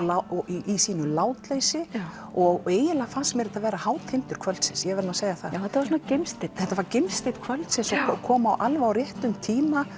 í sínu látleysi og eiginlega fannst mér þetta vera hátindur kvöldsins ég verð að segja það þetta var gimsteinn þetta var gimsteinn kvöldsins og kom alveg á réttum tíma